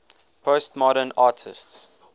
postmodern artists